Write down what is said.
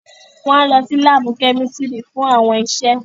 Wọn o lọ si laabu kẹ́místrì fún awọn iṣe